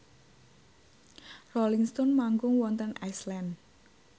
Rolling Stone manggung wonten Iceland